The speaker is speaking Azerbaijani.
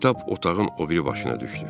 Kitab otağın o biri başına düşdü.